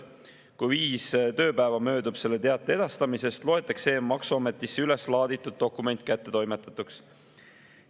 Kui viis tööpäeva möödub selle teate edastamisest, loetakse e‑maksuametisse üles laaditud dokument kättetoimetatuks.